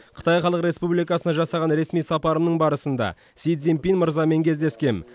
қытай халық республикасына жасаған ресми сапарымның барысында си цзиньпин мырзамен кездескем